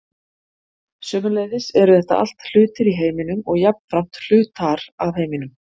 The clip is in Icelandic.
sömuleiðis eru þetta allt hlutir í heiminum og jafnframt hlutar af heiminum